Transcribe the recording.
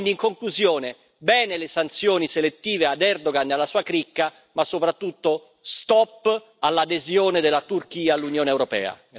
Quindi, in conclusione, bene le sanzioni selettive ad Erdogan e alla sua cricca, ma soprattutto, stop all'adesione della Turchia all'Unione europea.